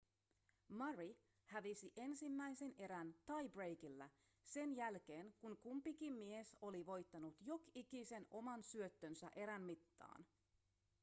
murray hävisi ensimmäisen erän tie-breakilla sen jälkeen kun kumpikin mies oli voittanut jok'ikisen oman syöttönsä erän mittaan